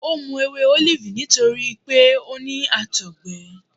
O mu ewe olifi nitori pe o ni àtọgbẹ.